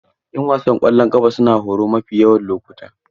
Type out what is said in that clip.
'Yan wasan ƙwallon ƙafa suna horo mafi yawan lokuta.